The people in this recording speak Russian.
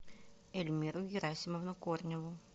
эльмиру герасимовну корневу